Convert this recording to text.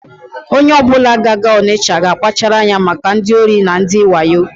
Onye ọbụla ga-aga Ọnịsha ga-akpachara anya maka ndị ohi na ndị wayo.